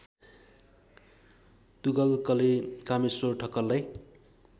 तुगलकले Kameshwar ठक्करलाई